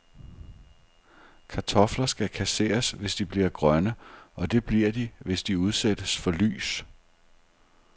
Kartofler skal kasseres, hvis de bliver grønne, og det bliver de, hvis de udsættes for lys.